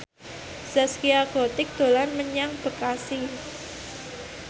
Zaskia Gotik dolan menyang Bekasi